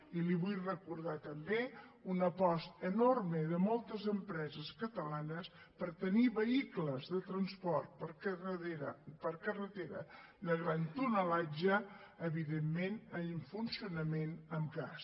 i li vull recordar també una aposta enorme de moltes empreses catalanes per tenir vehicles de transport per carretera de gran tonatge evidentment amb funcionament amb gas